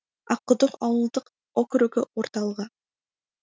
аққұдық ауылдық округі орталығы